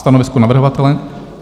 Stanovisko navrhovatele?